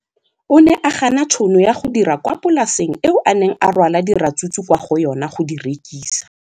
O ne a gana tšhono ya go dira kwa polaseng eo a neng rwala diratsuru kwa go yona go di rekisa.